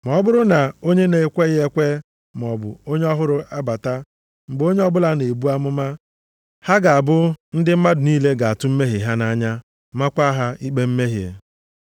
Ma ọ bụrụ na onye na-ekweghị ekwe maọbụ onye ọhụrụ abata mgbe onye ọbụla na-ebu amụma, ha ga-abụ ndị mmadụ niile ga-atụ mmehie ha nʼanya maakwa ha ikpe mmehie.